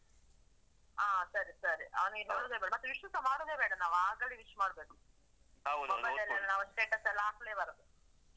ಹ, ಸರಿ, ಸರಿ. ಅವ್ನಿಗೆ ಹೇಳುದೇ ಬೇಡ. ಮತ್ತು wish ನೂಸ ಮಾಡುದೆ ಬೇಡ ನಾವು. ಆಗಲೇ wish ಮಾಡ್ಬೇಕು. mobile ಲ್ಲೆಲ್ಲ ನಾವು status ಎಲ್ಲ ಹಾಕ್ಲೇ ಬಾರ್ದು.